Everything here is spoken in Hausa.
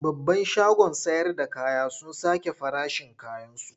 Babban shagon sayarda kaya sun sake farashin kayansu.